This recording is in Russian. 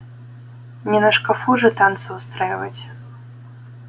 не на шкафу же танцы устраивать